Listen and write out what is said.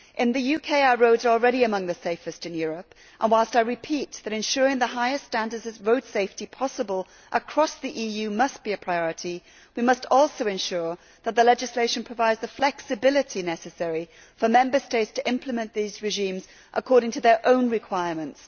In the UK, our roads are already among the safest in Europe and, whilst I repeat that ensuring the highest standards of road safety possible across the EU must be a priority, we must also ensure that the legislation provides the flexibility necessary for Member States to implement these regimes according to their own requirements.